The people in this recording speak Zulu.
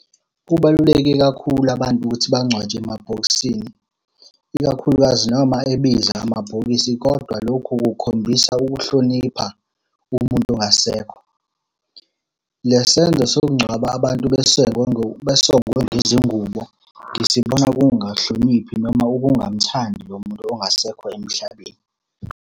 Kubaluleke kakhulu abantu ukuthi bangcwatshwe emabhokisini, ikakhulukazi noma ebiza amabhokisi, kodwa lokhu kukhombisa ukuhlonipha umuntu ongasekho. Le senzo sokungcwaba abantu besengwe besongwe ngezingubo ngisibona kuwukungahloniphi noma ukungamuthandi lo muntu ongasekho emhlabeni.